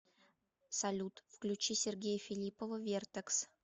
салют включи сергея филиппова вертэкс